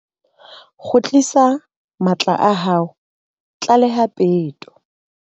Kgutlisa matla a hao, tlaleha peto.